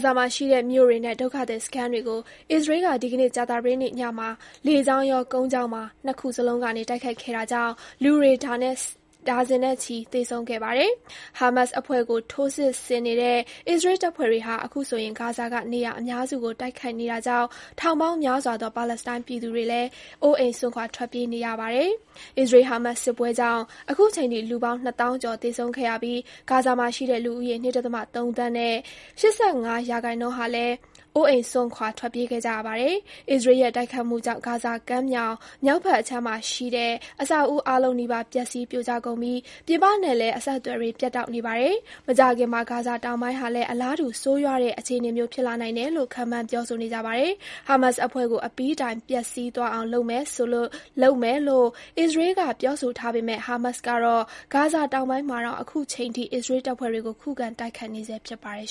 ဇာမှာရှိတဲ့ မြို့တွေနဲ့ ဒုက္ခသည်စခန်းတွေကို အစ္စရေးက ဒီကနေ့ ကြာသပတေးနေ့ညမှာ လေကြောင်းရော ကုန်းကြောင်းပါ ၂ ခုစလုံးကနေ တိုက်ခိုက်ခဲ့တာကြောင့် လူတွေ ဒါဇင်နဲ့ချီ သေဆုံးခဲ့ပါတယ်။ ဟာမတ်စ်အဖွဲ့ကို ထိုးစစ်ဆင်နေတဲ့ အစ္စရေးတပ်ဖွဲ့တွေဟာ အခုဆိုရင် ဂါဇာက နေရာ အများစုကို တိုက်ခိုက်နေတာကြောင့် ထောင်ပေါင်းများစွာသော ပါလက်စတိုင်း ပြည်သူတွေလည်း အိုးအိမ်စွန့်ခွာ ထွက်ပြေးနေရပါတယ်။ အစ္စရေး-ဟာမတ်စ် စစ်ပွဲကြောင့် အခုချိန်ထိ လူပေါင်း နှစ်သောင်းကျော် သေဆုံးခဲ့ရပြီး ဂါဇာမှာရှိတဲ့ လူဦးရေ ၂.၃ သန်းရဲ့ ၈၅% ဟာလည်း အိုးအိမ်စွန့်ခွာ ထွက်ပြေးခဲ့ကြရပါတယ်။ အစ္စရေးရဲ့ တိုက်ခိုက်မှုကြောင့် ဂါဇာကမ်းမြောင် မြောက်ဘက်အခြမ်းမှာရှိတဲ့ အဆောက်အဦး အားလုံးနီးပါး ပျက်ဆီး ပြိုကျကုန်ပြီး ပြင်ပနဲ့လည်း အဆက်အသွယ်တွေ ပြတ်တောက်နေပါတယ်။ မကြာခင်မှာ ဂါဇာတောင်ပိုင်းဟာလည်း အလားတူ ဆိုးရွားတဲ့ အခြေအနေမျိုး ဖြစ်လာနိုင်တယ်လို့ ခန့်မှန်း ပြောဆိုနေကြပါတယ်။ ဟာမတ်စ်အဖွဲ့ကို အပြီးတိုင် ပျက်ဆီးသွားအောင် လုပ်ပစ်မယ်လို့ အစ္စရေးက ပြောဆိုထားပေမဲ့ ဟာမတ်စ်ကတော့ ဂါဇာ တောင်ပိုင်းမှာတောင် အခုချိန်ထိ အစ္စရေးတပ်ဖွဲ့တွေကို ခုခံ တိုက်ခိုက်နေဆဲ ဖြစ်ပါတယ်